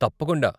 తప్పకుండా!